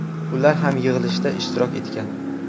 Ular ham yig‘ilishda ishtirok etgan.